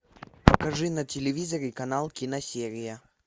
покажи на телевизоре канал киносерия